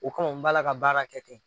O kama n b'a la ka baara kɛ kɛ.